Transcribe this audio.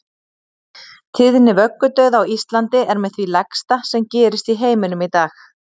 Tíðni vöggudauða á Íslandi er með því lægsta sem gerist í heiminum í dag.